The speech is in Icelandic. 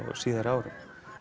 síðari árum